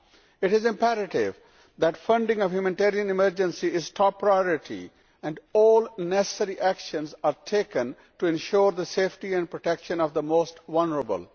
It is imperative that funding of the humanitarian emergency is top priority and all necessary actions are taken to ensure the safety and protection of the most vulnerable.